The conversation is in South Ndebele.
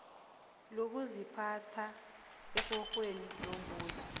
lokuziphatha ekorweni yombuso